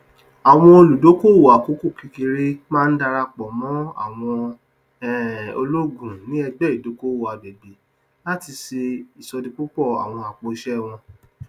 àwọn olùdókòowó àkókòkékèré máa ń darapọ mọ àwọn um ológun ní ẹgbẹ ìdókòowó àgbègbè láti ṣe ìṣòdípòpọ àwọn apòìṣé wọn